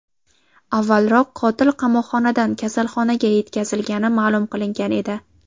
Avvalroq qotil qamoqxonadan kasalxonaga yetkazilgani ma’lum qilingan edi .